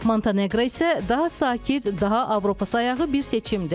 Monteneqro isə daha sakit, daha Avropasayağı bir seçimdir.